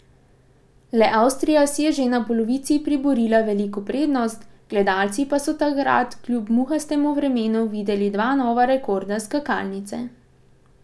Le Avstrija si je že na polovici priborila veliko prednost, gledalci pa so takrat kljub muhastemu vremenu videli dva nova rekorda skakalnice.